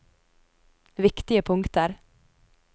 viktige punkter